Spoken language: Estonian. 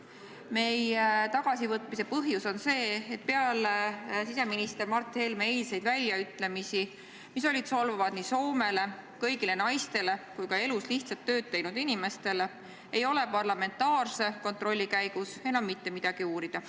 Meie tagasivõtmise põhjus on see, et peale siseminister Mart Helme eilseid väljaütlemisi, mis olid solvavad nii Soomele, kõigile naistele kui ka elus lihtsat tööd teinud inimestele, ei ole parlamentaarse kontrolli käigus enam mitte midagi uurida.